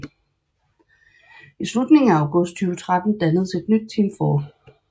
I slutningen af august 2013 dannedes et nyt Team 4